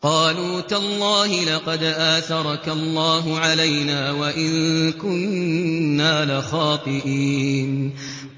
قَالُوا تَاللَّهِ لَقَدْ آثَرَكَ اللَّهُ عَلَيْنَا وَإِن كُنَّا لَخَاطِئِينَ